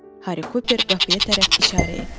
Harry Cooper qapıya tərəf işarə etdi.